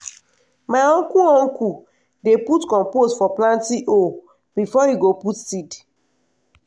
my uncle uncle dey put compost for planting hole before e go put seed.